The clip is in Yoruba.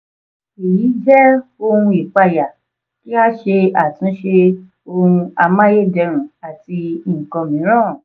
èyí jẹ́ ohun ìpayà kí a ṣe àtúnṣe ohun amáyédẹrùn àti nǹkan mìíràn.